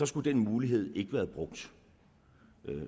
skulle den mulighed ikke have været brugt